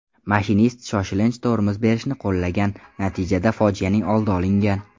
Mashinist shoshilinch tormoz berishni qo‘llagan, natijada fojianing oldi olingan.